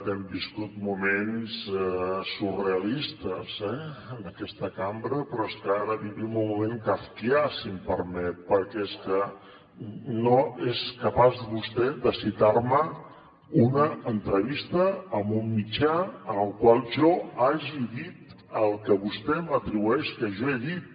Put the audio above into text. hem viscut moments surrealistes eh en aquesta cambra però és que ara vivim un moment kafkià si m’ho permet perquè és que no és capaç vostè de citar me una entrevista en un mitjà en el qual jo hagi dit el que vostè m’atribueix que jo he dit